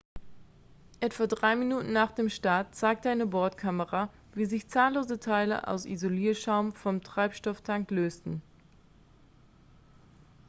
etwa 3 minuten nach dem start zeigte eine bordkamera wie sich zahllose teile aus isolierschaum vom treibstofftank lösten